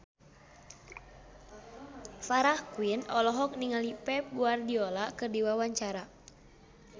Farah Quinn olohok ningali Pep Guardiola keur diwawancara